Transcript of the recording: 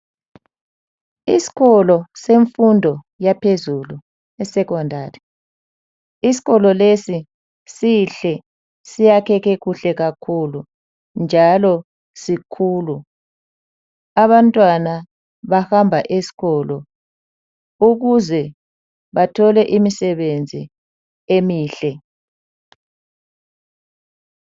Isikolo semfundo yaphezulu eSecondari. Isikolo lesi sihle njalo sakheke kuhle kakhulu njalo sikhulu. Abantwana bahamba esikolo ukuze bathole imisebenzi emihle.